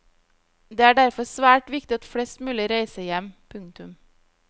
Det er derfor svært viktig at flest mulig reiser hjem. punktum